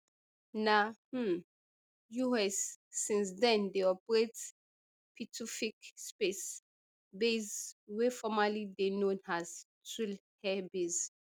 na um us since then dey operate pituffik space base wey formerly dey known as thule air base